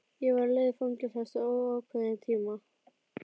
Ég var á leið í fangelsi eftir óákveðinn tíma.